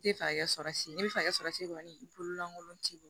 N tɛ fɛ ka kɛ sɔrɔsi ne bɛ fɛ ka sɔrɔsi kɔni i bolo lankolon t'i bolo